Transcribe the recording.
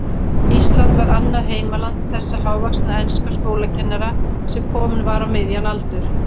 Ísland var annað heimaland þessa hávaxna enska skólakennara, sem kominn var á miðjan aldur.